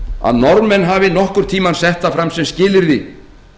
að norðmenn hafi nokkurn tíma sett það fram sem skilyrði